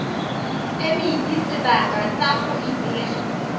phemiti sebaka sa go ipega